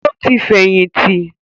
Ó ti fẹ̀yìntì.